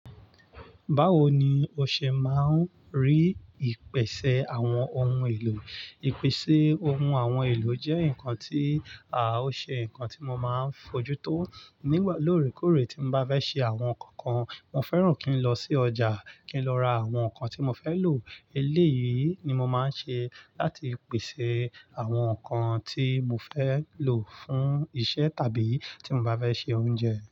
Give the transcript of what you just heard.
Báwo ni o ṣe máa ń rí ìpèsè àwọn ohun èlò? Ìpèsè ohun àwọn ohun èlò jẹ́ nǹkan tí, à ó ṣe ǹkan tí mo máa ń fojú tó nígbà lóòrèkóòrè tí mo bá fẹ́ ṣe àwọn nǹkan kan. Mo fẹ́ràn kí n lọ sí ọjà, kí n lọ ra àwọn nǹkan tí mo fẹ́ lò. Eléyìí ni mo máa ń ṣe láti pèsè àwọn nǹkan tí mo fẹ́ lò fún iṣẹ́ tàbí tí mo bá fẹ́ ṣe oúnjẹ.